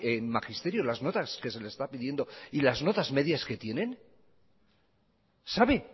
en magisterio las notas que se les está pidiendo y las notas medias que tienen lo sabe